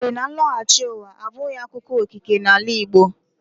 Ọ siiri na nlọghachi ụwa abụghị akụkọ okike n'ala Igbo.